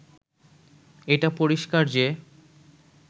এটা পরিষ্কার যে